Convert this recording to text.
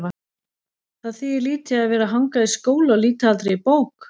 Það þýðir lítið að vera að hanga í skóla og líta aldrei í bók.